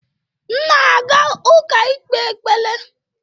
M na-aga ụka ikpe ekpere